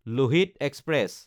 Lohit express